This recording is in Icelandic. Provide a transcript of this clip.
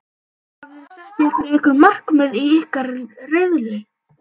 Hafiði sett ykkur einhver markmið í ykkar riðli?